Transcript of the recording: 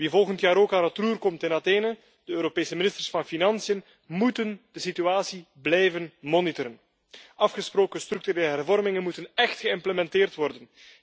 Wie volgend jaar ook aan het roer komt in Athene, de Europese ministers van financiën moeten de situatie blijven monitoren. Afgesproken structurele hervormingen moeten echt geïmplementeerd worden.